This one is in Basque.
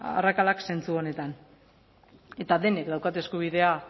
arrakalak zentzu honetan eta denek daukate eskubidea